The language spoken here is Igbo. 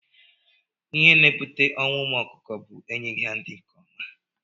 Ihe na- ebute ọnwụ ụmụ ọkụkọ bu enyeghi ha nri nke ọma.